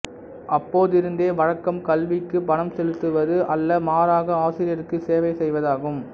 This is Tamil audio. அப்போதிருந்த வழக்கம் கல்விக்கு பணம் செலுத்துவது அல்ல மாறாக ஆசிரியருக்கு சேவை செய்வதாகும்